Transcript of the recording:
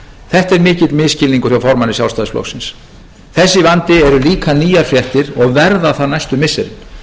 þetta er mikill misskilningur hjá formanni sjálfstæðisflokksins þessi vandi eru líka nýjar fréttir og verða það næstu missirin